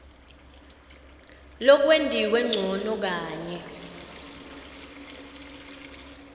lokwentiwe ncono kanye